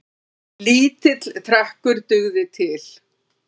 Lítill trekkur dugði til.